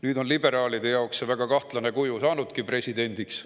Nüüd on see liberaalide jaoks väga kahtlane kuju saanudki presidendiks.